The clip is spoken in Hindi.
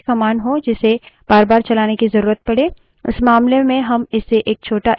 ऐसा हो सकता है कि आप के पास लम्बी command हो जिसे बारबार चलाने की जरूरत पड़े